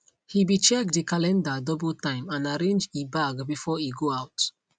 he be check de calendar double time and arrange e bag before e go out